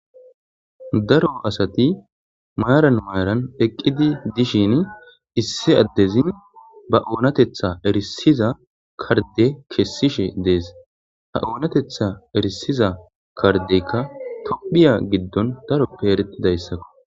daro asati maaran mayran eqqidi dishin issi addezin ba oonatetha erisiza karde kessishe dees ha oonatetha erisiza kardeykka tophiya giddon daroppe eretidayssakko